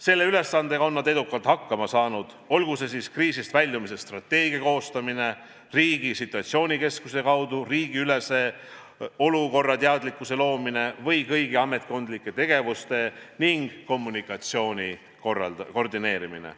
Selle ülesandega on nad edukalt hakkama saanud, olgu kõne all siis kriisist väljumise strateegia koostamine, riigi situatsioonikeskuse kaudu riigiülese olukorrateadlikkuse loomine või kõigi ametkondlike tegevuste ning kommunikatsiooni koordineerimine.